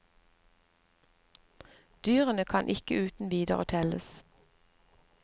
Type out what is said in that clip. Dyrene kan ikke uten videre telles.